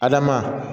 Adama